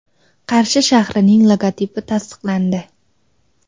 Qarshi shahrining logotipi tasdiqlandi.